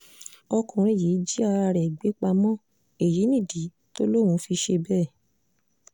ọkùnrin yìí jí ara ẹ̀ gbé pamọ́ èyí nìdí tó lóun fi ṣe bẹ́ẹ̀